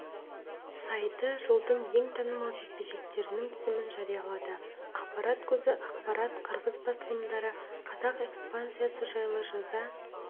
сайты жылдың ең танымал жекпе-жектерінің тізімін жариялады ақпарат көзі ақпарат қырғыз басылымдары қазақ экспансиясы жайлы жаза